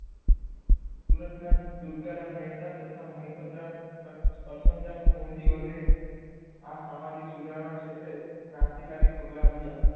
સુરતના દુર્ગારામ મહેતા તથા મયપત રામ કર કરસનદાસ મુળજી વગેરે આ સામાજિક સુધારણા ક્ષેત્રે કરંતી કરી પગલાં ભર્યા